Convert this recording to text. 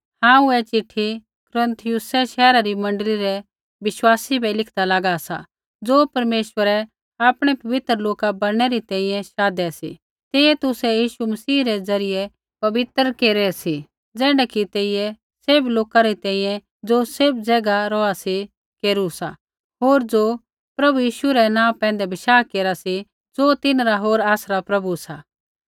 हांऊँ ऐ चिट्ठी कुरिन्थियुसै शैहरा री मण्डली रै विश्वासी बै लिखदा लागा सा ज़ो परमेश्वरै आपणै पवित्र लोका बणनै री शाधै सी तेइयै तुसै यीशु मसीह रै ज़रियै पवित्र केरू सा ज़ैण्ढै कि तेइयै सैभ लोका री तैंईंयैं ज़ो सैभ ज़ैगा रौहा सी केरू सा होर ज़ो प्रभु यीशु रै नाँ पैंधै बशाह केरा सी ज़ो तिन्हरा हो आसरा प्रभु सा